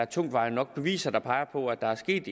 tungtvejende beviser der peger på at der er sket